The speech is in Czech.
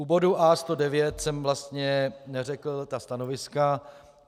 U bodu A109 jsem vlastně neřekl stanoviska.